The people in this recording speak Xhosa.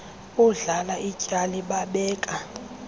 bondlala ityali babeka